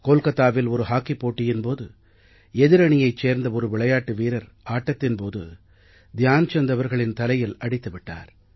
கோல்கத்தாவில் ஒரு ஹாக்கி போட்டியின் போது எதிரணியைச் சேர்ந்த ஒரு விளையாட்டு வீரர் ஆட்டத்தின் போது த்யான் சந்த் அவர்களின் தலையில் அடித்து விட்டார்